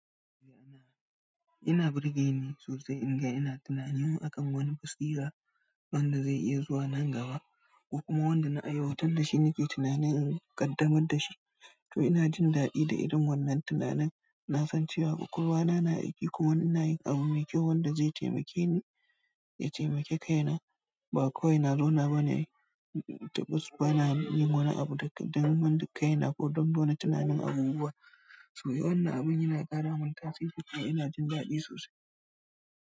Ina birge ni sosai in ga ina tunanin akan wani taswira wanda zai iya zuwa nan gaba ko kuma wanda na aiwatar da shi nake tunanin in ƙaddamar da shi. To ina jin daɗi da irin wannan tunanin. Na san cewa ƙwaƙwalwa na aiki kuma ina yin abu mai kyau wanda zai taimake ni, ya taimake kaina. Ba kawai na zauna bane, ba na yin wani abu don kaina ko don wani tunanin abubuwa. To wannan abun yana ƙara mun tasiri kuma ina jin daɗi sosai.